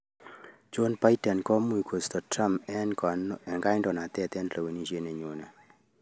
joe biden kkomuch koisto trump eng kandoinatet eng lewenishet ne nyonei/